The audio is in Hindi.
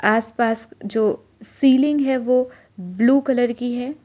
आस पास जो सीलिंग है वो ब्लू कलर की है।